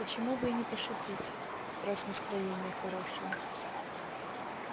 почему бы и не пошутить раз настроение хорошее